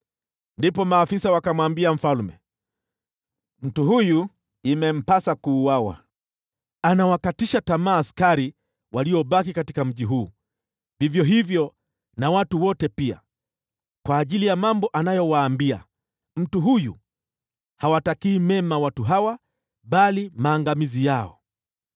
Ndipo maafisa wakamwambia mfalme, “Mtu huyu imempasa kuuawa. Anawakatisha tamaa askari waliobaki katika mji huu, vivyo hivyo na watu wote pia, kwa ajili ya mambo anayowaambia. Mtu huyu hawatakii mema watu hawa, bali maangamizi yao.”